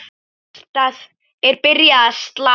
Hjartað er byrjað að slá.